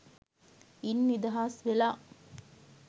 ඉන් නිදහස් වෙලා